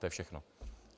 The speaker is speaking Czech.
To je všechno.